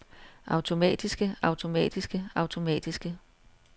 automatiske automatiske automatiske